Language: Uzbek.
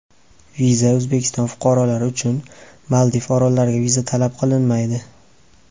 Viza O‘zbekiston fuqarolari uchun Maldiv orollariga viza talab qilinmaydi.